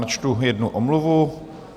Načtu jednu omluvu.